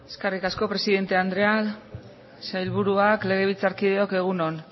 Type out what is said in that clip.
eskerrik asko presidente andrea sailburuak legebiltzarkideok egun on